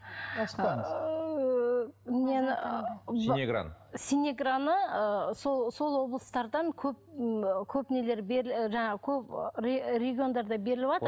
нені синеграны синеграны ы сол облыстардан көп көп нелер жаңағы көп региондарда беріліватыр